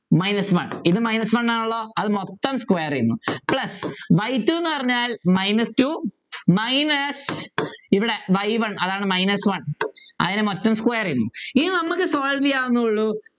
minus one ഇത് minus one ആണല്ലോ അതുമൊത്തം square ചെയ്യുന്നു plus y two ന്നു പറഞ്ഞാൽ minus two minus ഇവിടെ y one അതാണ് minus one അതിനെ മൊത്തം square ചെയ്യുന്നു ഇനി നമ്മക്ക് solve ചെയ്യാന്നെ ഉള്ളു